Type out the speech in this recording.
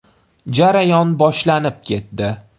Jarayon boshlanib ketdi.